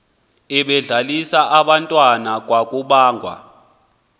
ebedlalisa abantwana kwakubangwa